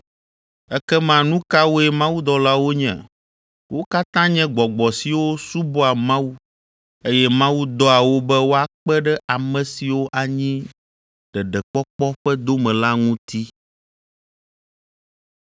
Ekema nu kawoe mawudɔlawo nye? Wo katã nye gbɔgbɔ siwo subɔa Mawu, eye Mawu dɔa wo be woakpe ɖe ame siwo anyi ɖeɖekpɔkpɔ ƒe dome la ŋuti.